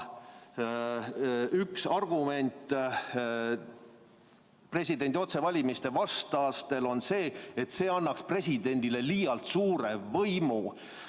Üks presidendi otsevalimise vastaste argument on see, et see annaks presidendile liialt suure võimu.